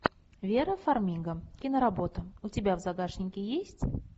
вера фармига киноработа у тебя в загашнике есть